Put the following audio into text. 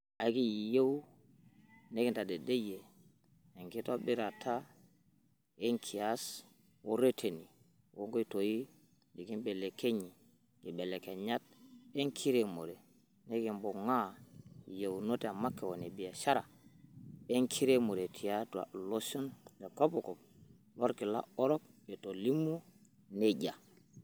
"Ekiyiieu nekitadedeyia enkitobirata wenkias ooreteni oonkoitoi nekilepunye nkibelekenyat enkiremore, nekibungaa iyieunoto emakeon ebiashara enkiremore tiata iloshon le kopikop lolkila orok," Etolimuo najia.